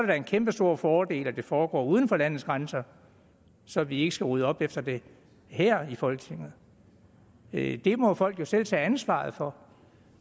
da en kæmpestor fordel at det foregår uden for landets grænser så vi ikke skal rydde op efter det her i folketinget det må folk jo selv tage ansvaret for